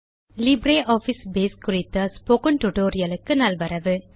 LibreOffice Base குறித்த spoken tutorial க்கு நல்வரவு